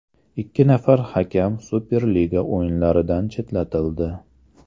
Ikki nafar hakam Superliga o‘yinlaridan chetlatildi.